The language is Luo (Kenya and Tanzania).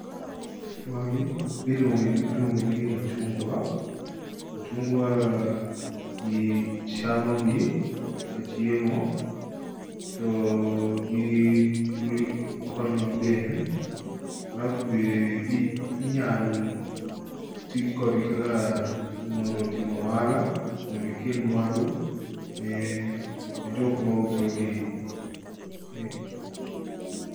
Magi iluonge n iluongo negi ni machungwa. Machungwa ah jii chamogi kaka chiemo, to oh gi ii l konyo dend, alafu be ii inyal tij kodgi kaka mondo timo oala, mondo gikel mwandu ne ne jok mausogi, eh.